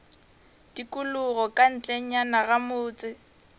tikologo ka ntlenyana ga motse